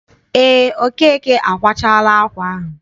Eé, Okeke akwachaala ákwà ahụ.